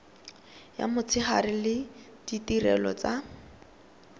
ya motshegare le ditirelo tsa